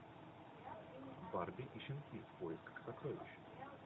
барби и щенки в поисках сокровищ